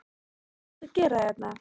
En hvað ertu að gera hérna?